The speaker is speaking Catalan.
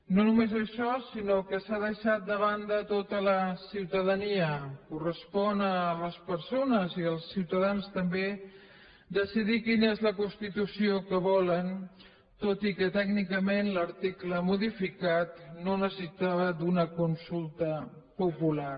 no només això sinó que s’ha deixat de banda tota la ciutadania correspon a les persones i als ciutadans també decidir quina és la constitució que volen tot i que tècnicament l’article modificat no necessitava d’una consulta popular